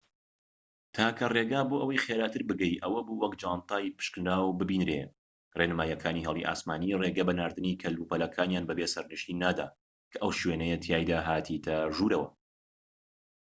تاکە ڕێگا بۆ ئەوەی خێراتر بگەیت ئەوە بوو وەک جانتای پشکنراو بینێریت ڕێنماییەکانی هێڵی ئاسمانی ڕێگە بەناردنی کەلوپەلەکانیان بەبێ سەرنشین نادات کە ئەو شوێنەیە تیایدا هاتیتە ژوورەوە